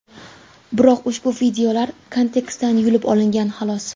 Biroq ushbu videolar kontekstdan yulib olingan, xolos.